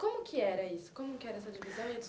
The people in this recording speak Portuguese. Como que era isso como que era essa divisão e a